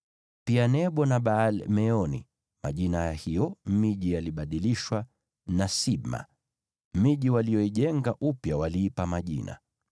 pia Nebo na Baal-Meoni (majina ya hiyo miji yalibadilishwa) na Sibma. Miji waliyoijenga upya waliipa majina.